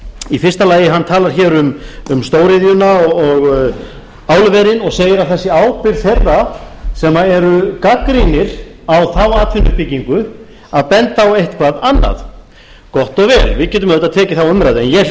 í fyrsta lagi talar hann um stóriðjuna og álverin og segir að það sé ábyrgð þeirra sem eru gagnrýnir á þá atvinnuuppbyggingu að benda á eitthvað annað gott og vel við getum auðvitað tekið þá umræðu en ég hlýt